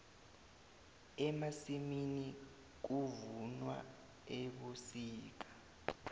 emasimini kuvunwa ebusika